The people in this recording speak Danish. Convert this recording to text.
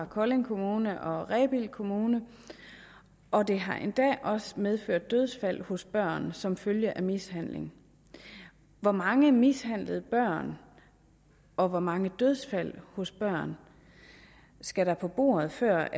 kolding kommune og rebild kommune og det har endda også medført dødsfald hos børn som følge af mishandling hvor mange mishandlede børn og hvor mange dødsfald hos børn skal der på bordet før